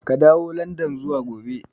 Ka dawo landan zuwa gobe!